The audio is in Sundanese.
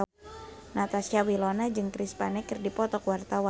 Natasha Wilona jeung Chris Pane keur dipoto ku wartawan